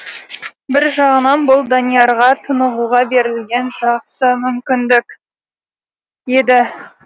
бір жағынан бұл даниярға тынығуға берілген жақсы мүмкіндік еді